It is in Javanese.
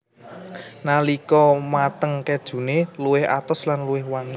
Nalika mateng kejune luwih atos lan luwih wangi